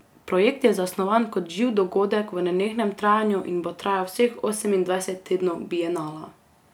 Projekt je zasnovan kot živ dogodek v nenehnem trajanju in bo trajal vseh osemindvajset tednov Bienala.